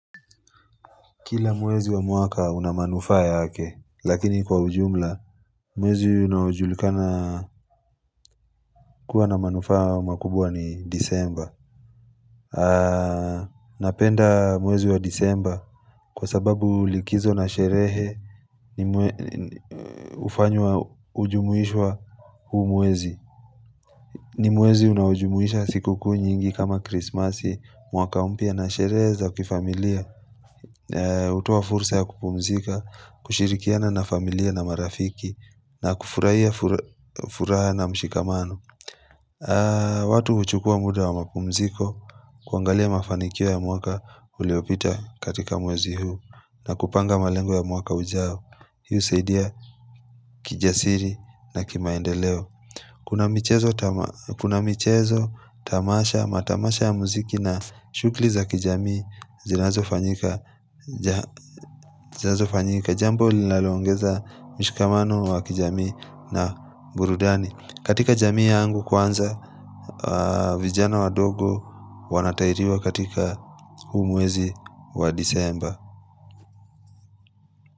Kila mwezi wa mwaka unamanufaa yake, lakini kwa ujumla, mwezi unaojulikana kuwa na manufaa makubwa ni disemba. Napenda mwezi wa disemba kwa sababu likizo na sherehe hufanywa hujumuishwa huu mwezi. Ni mwezi unaujumuisha siku kuu nyingi kama krismasi, mwaka mpya na sherehe za kifamilia. Hutoa fursa ya kupumzika kushirikiana na familia na marafiki na kufurahia furaha na mshikamano watu huchukua muda wa mapumziko kuangalia mafanikio ya mwaka uliopita katika mwezi huu na kupanga malengo ya mwaka ujao hii husaidia kijasiri na kimaendeleo kuna michezo tamasha matamasha ya muziki na shughuli za kijamii zinazo fanyika jambo linalongeza mishikamano wa kijami na burudani katika jamii ya angu kwanza vijana wa dogo wanatairiwa katika huu mwezi wa disemba.